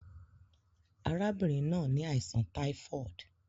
Arábínrin náà ni àìsàn typhoid